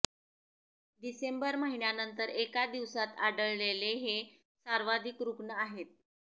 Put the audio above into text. डिसेंबर महिन्यानंतर एका दिवसात आढळलेले हे सर्वाधिक रुग्ण आहेत